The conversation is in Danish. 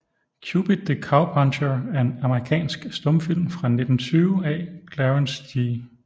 Cupid the Cowpuncher er en amerikansk stumfilm fra 1920 af Clarence G